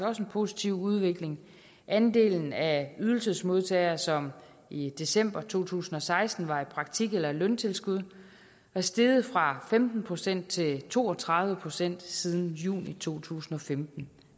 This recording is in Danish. også en positiv udvikling andelen af ydelsesmodtagere som i december to tusind og seksten var i praktik eller løntilskud var steget fra femten procent til to og tredive procent siden juni to tusind og femten